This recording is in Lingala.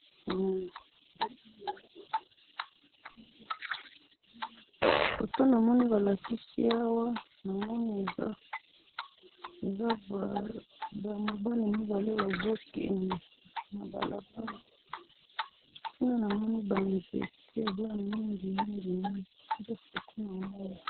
photo na moni ba lakisi awa, na moni eza ba mobali mibale bazo kende na balabala, kuna na moni ba zente eza mingi mingi mingi nde photo na moni.